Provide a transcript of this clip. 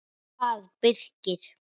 bað Birkir.